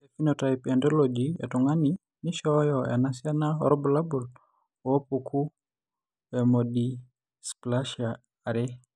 Ore ephenotype ontology etung'ani neishooyo enasiana oorbulabul onaapuku eOmodysplasia are.